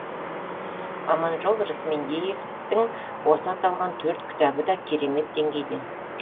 аманжол рысмендеевтің осы аталған төрт кітабы да керемет деңгейде